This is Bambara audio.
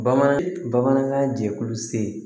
Bamanan bamanankan jɛkulu se